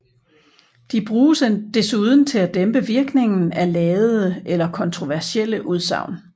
De bruges desuden til at dæmpe virkningen af ladede eller kontroversielle udsagn